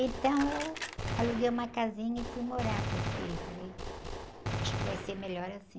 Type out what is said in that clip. Então, eu aluguei uma casinha e fui morar, porque falei, acho que vai ser melhor assim.